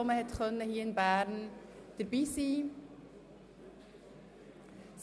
Man konnte hier in Bern rund zehn Predigten besuchen.